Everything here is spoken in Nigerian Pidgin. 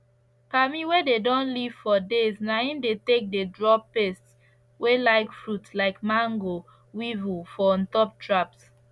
palmi wey dey don leave for days na im dey take dey draw pest wey like fruit like mango weevil for ontop traps